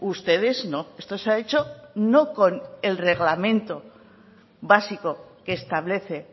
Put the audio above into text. ustedes no esto se ha hecho no con el reglamento básico que establece